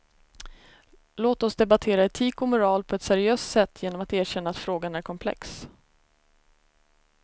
Låt oss debattera etik och moral på ett seriöst sätt genom att erkänna att frågan är komplex.